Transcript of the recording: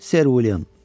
Ser William.